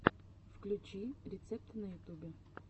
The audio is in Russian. включи рецепты на ютубе